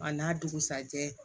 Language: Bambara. A n'a dugusajɛ